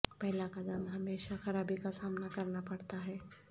پہلا قدم ہمیشہ خرابی کا سامنا کرنا پڑتا ہے